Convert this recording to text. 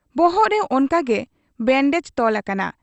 ᱵᱚᱦᱚᱜ ᱨᱮ ᱚᱱᱠᱟᱜᱮ ᱵᱮᱱᱰᱮᱡᱽ ᱛᱚᱞ ᱟᱠᱟᱱᱟ ᱾